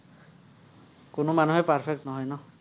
কোনো মানুহেই perfect নহয় ন।